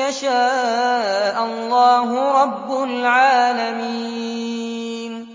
يَشَاءَ اللَّهُ رَبُّ الْعَالَمِينَ